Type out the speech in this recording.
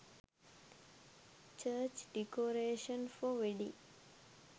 church decoration for wedding